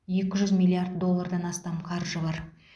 екі жүз миллиард доллардан астам қаржы бар